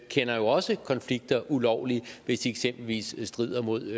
kender jo også konflikter ulovlige hvis de eksempelvis strider mod